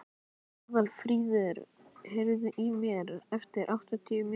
Aðalfríður, heyrðu í mér eftir áttatíu mínútur.